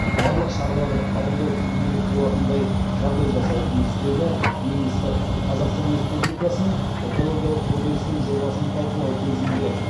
барлық шараларды қабылдау тиімдірек болатындай жағдай жасауы тиіс деді министр қазақстан республикасының экологиялық кодексінің жобасын талқылау кезінде